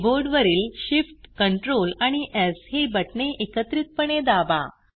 keyboard वरील Shift Ctrl आणि स् ही बटणे एकत्रितपणे दाबा